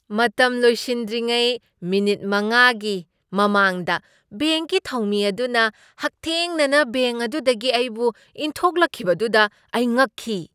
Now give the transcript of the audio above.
ꯃꯇꯝ ꯂꯣꯏꯁꯤꯟꯗ꯭ꯔꯤꯉꯩ ꯃꯤꯅꯤꯠ ꯃꯉꯥꯒꯤ ꯃꯃꯥꯡꯗ ꯕꯦꯡꯛꯀꯤ ꯊꯧꯃꯤ ꯑꯗꯨꯅ ꯍꯛꯊꯦꯡꯅꯅ ꯕꯦꯡꯛ ꯑꯗꯨꯗꯒꯤ ꯑꯩꯕꯨ ꯏꯟꯊꯣꯛꯂꯛꯈꯤꯕꯗꯨꯗ ꯑꯩ ꯉꯛꯈꯤ꯫